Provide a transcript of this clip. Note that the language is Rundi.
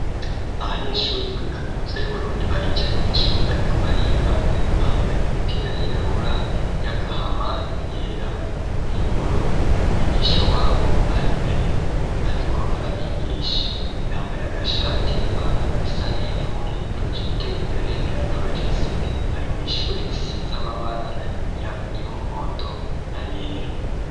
Abanyeshuri kuri kaminuza y'uburundi baricaye mwishuri bariko bariga bambaye imipira yirabura y'agahama yera n'iy'ubururu umwigisha wabo ari mbere ariko arabigisha yambaye agashati n'ipantaro isa n'ivu projecteri imbere iraprojese bari mwishuri isize amabara y'umuhondo n' ayera.